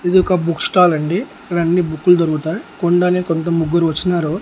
ఇది ఒక book stall అండి ఇక్కడ అన్ని బుక్కులు దొరుకుతాయి కొనడానికి కొంత ముగ్గురు వచున్నారు.